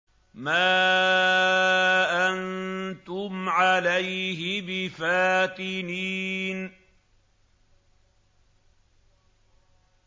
مَا أَنتُمْ عَلَيْهِ بِفَاتِنِينَ